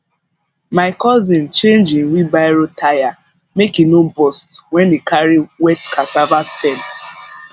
my cousin change him wheelbarrow tyre make e no burst when e carry wet cassava stem